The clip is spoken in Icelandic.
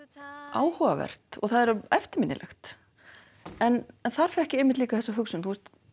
áhugavert og það er eftirminnilegt en þar fékk ég einmitt líka þessa hugsun